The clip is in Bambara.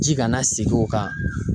Ji kana segin o kan.